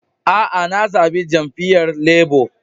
Aa, na zabi jami'yyan Labour.